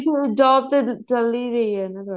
job ਤੇ ਚੱਲ ਹੀ ਰਹੀ ਹੈ ਨਾ